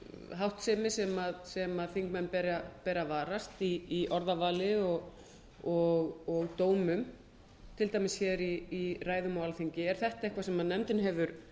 háttsemi sem þingmenn beri að varast í orðavali og dómum til dæmis hér í ræðum á alþingi er þetta eitthvað sem nefndin hefur